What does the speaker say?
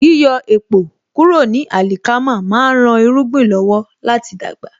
Yíyọ èpò kúrò ní àlìkámà má ń rán irúgbìn lọ́wọ́ láti dàgbà